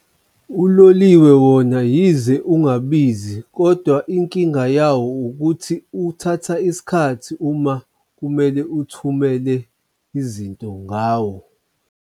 Uloliwe wona yize ungabizi kodwa inkinga yawo ukuthi uthatha isikhathi uma kumele uthumele izinto ngawo.